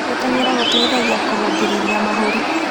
Gũtengera gũteĩthagĩa kũrũngĩrĩrĩa mahũrĩ